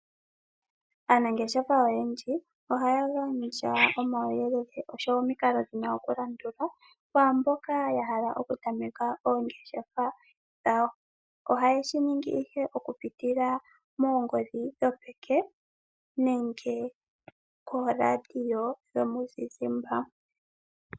Aanangeshefa oyendji ohaya gandja omawuyelele oshowo omikalo dhina okulandulwa kwaamboka yahala okutameka oongeshefa dhawo. Oha ye shiningi ihe okupitila moongodhi dhopeke nenge kooladiyo dhomuzizimbe.